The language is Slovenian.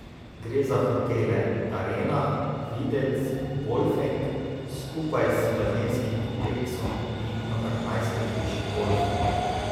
Gre za hotele Arena, Videc, Bolfenk skupaj z bazenskim kompleksom in apartmajske hiše Bolfenk.